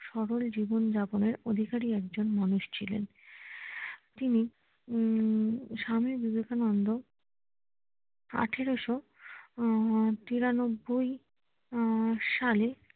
সরল জীবন যাপনের অধিকারী একজন মানুষ ছিলেন আহ তিনি হম স্বামী বিবেকানন্দ` এক হাজার আট শো তিরানব্বই আহ সালে